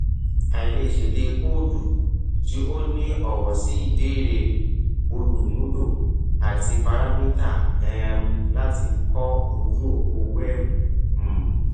aì lè ṣẹdé kóòdù tí ó ní ọwọ sí ìbéèrè olùmùlò àti parámítá um láti kọ ojú òpó wẹẹbu um